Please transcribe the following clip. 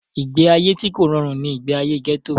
ìgbé ayé tí kò rọrùn ni ìgbé ayé gẹ́tò